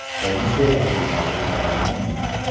Komissiya vakillariga qaraymanmi?